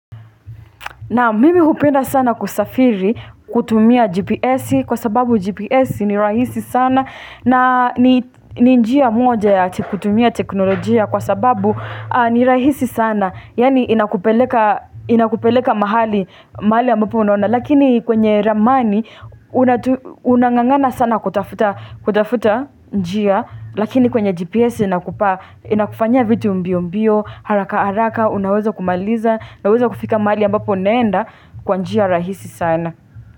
Naam mimi hupenda sana kusafiri kutumia GPS kwa sababu GPS ni rahisi sana na ni njia moja ya kutumia teknolojia kwa sababu ni rahisi sana. Yaani inakupeleka mahali ambapo unaona Lakini kwenye ramani unangangana sana kutafuta njia Lakini kwenye GPS inakufanyia vitu mbio mbio haraka haraka unaweza kumaliza unaweza kufika mahali ambapo unaenda kwa njia rahisi sana.